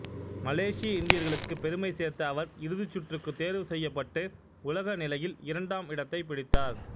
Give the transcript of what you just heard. மலேசிய இந்தியர்களுக்குப் பெருமை சேர்த்த அவர் இறுதிச் சுற்றுக்குத் தேர்வு செய்யப்பட்டு உலக நிலையில் இரண்டாம் இடத்தைப் பிடித்தார்